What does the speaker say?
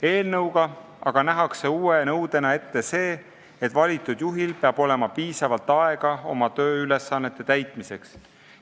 Uue nõudena nähakse eelnõuga ette see, et valitud juhil peab olema piisavalt aega oma tööülesannete täitmiseks.